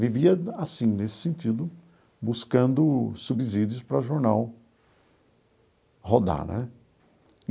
Vivia assim, nesse sentido, buscando subsídios para o jornal rodar né.